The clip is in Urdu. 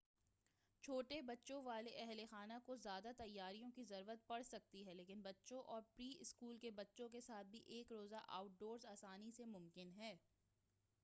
چھوٹے بچوں والے اہل خانہ کو زیادہ تیاریوں کی ضرورت پڑسکتی ہے لیکن بچوں اور پری-اسکول کے بچوں کے ساتھ بھی ایک روزہ آؤٹ ڈورس آسانی سے ممکن ہے